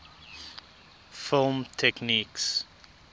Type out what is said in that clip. film techniques